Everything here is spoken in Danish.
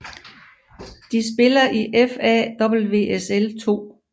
De spiller i FA WSL 2